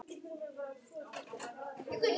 Ég skildi þau ekki nærri öll.